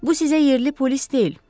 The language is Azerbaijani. Bu sizə yerli polis deyil.